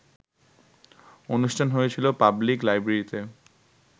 অনুষ্ঠান হয়েছিল পাবলিক লাইব্রেরিতে